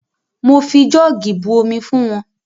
Mo fi jọ́ọ̀gì bu omi fún wọn.